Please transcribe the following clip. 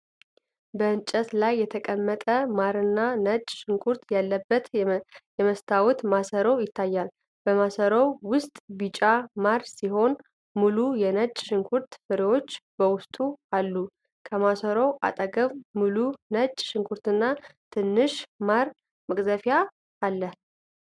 በእንጨት ላይ የተቀመጠ ማርና ነጭ ሽንኩርት ያለበት የመስታወት ማሰሮ ይታያል። በማሰሮው ውስጥ ቢጫ ማር ሲሆን፣ ሙሉ የነጭ ሽንኩርት ፍሬዎች በውስጡ አሉ። ከማሰሮው አጠገብ ሙሉ ነጭ ሽንኩርትና ትንሽ ማር መቅዘፊያ አለ።